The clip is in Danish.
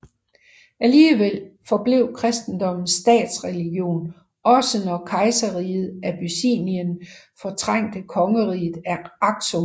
Alligevel forblev kristendommen statsreligion også når kejserriget Abyssinien fortrængte kongeriget Aksum